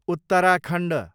Uttarakhand